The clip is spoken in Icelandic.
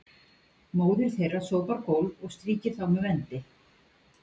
Móðir þeirra sópar gólf og strýkir þá með vendi.